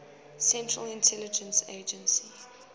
central intelligence agency